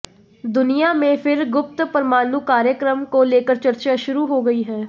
दुनिया में फिर गुप्त परमाणु कार्यक्रम को लेकर चर्चा शुरु हो गई है